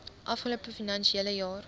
afgelope finansiële jaar